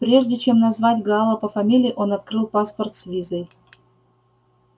прежде чем назвать гаала по фамилии он открыл паспорт с визой